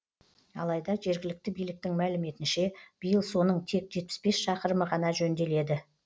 алайда жергілікті биліктің мәліметінше биыл соның тек жетпіс бес шақырымы ғана жөнделеді